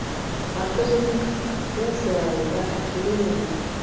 Markaðssetning búfjárafurða ekki viðunandi